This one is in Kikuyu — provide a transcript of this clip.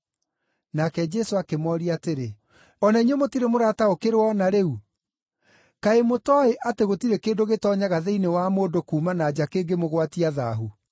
Nake Jesũ akĩmooria atĩrĩ, “O na inyuĩ mũtirĩ mũrataũkĩrwo o na rĩu? Kaĩ mũtooĩ atĩ gũtirĩ kĩndũ gĩtoonyaga thĩinĩ wa mũndũ kuuma na nja kĩngĩmũgwatia thaahu?